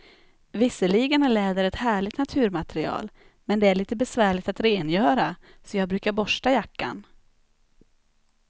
Visserligen är läder ett härligt naturmaterial, men det är lite besvärligt att rengöra, så jag brukar borsta jackan.